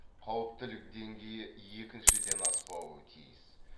қауіптілік деңгейі екіншіден аспауы тиіс